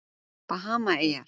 Bahamaeyjar